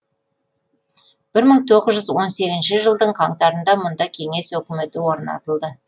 бір мың тоғыз жүз он сегізінші жылдың қаңтарында мұнда кеңес өкіметі орнатылды